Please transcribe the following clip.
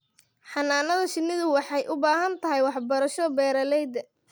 Xannaanada shinnidu waxay u baahan tahay waxbarasho beeralayda.